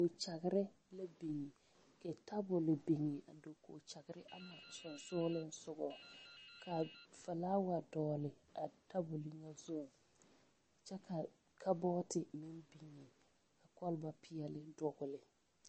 Dakyagre la biŋ ka tabol biŋ a dakyagre ama sɔŋsɔgliŋsɔgɔ ka filaawa dɔɔle a tabol ŋa zu kyɛ ka ka bɔɔte meŋ biŋ kɔlba peɛle dɔgle.